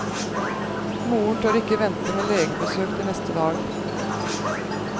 Moren tør ikke vente med legebesøk til neste dag.